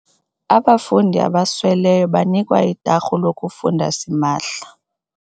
Abafundi abasweleyo banikwa itarhu lokufunda simahla.